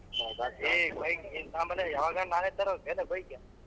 ಹೇ bike ನೀನ್ ತಗೊನ್ಬಾಲೆ ಯಾವಗನ್ನ ನಾನೇ ತರದೇನ್ ಲೇ bike .